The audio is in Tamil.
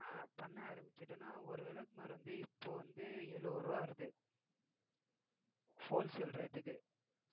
அஹ் பண்ண ஆரம்பிச்சுட்டோம்ன்னா ஒரு விளக்குமாறு வந்து இப்போ வந்து எழுபது ரூபாய் வருது whole sale rate க்கு